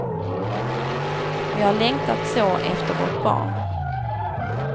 Vi har längtat så efter vårt barn.